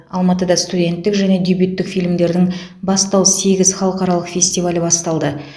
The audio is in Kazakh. алматыда студенттік және дебюттік фильмдердің бастау сегіз халықаралық фестивалі басталды